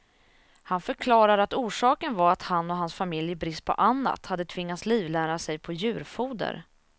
Han förklarar att orsaken var att han och hans familj i brist på annat hade tvingats livnära sig på djurfoder.